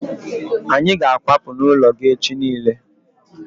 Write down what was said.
Anyị ga akwapu n'ụlọ gị echi niile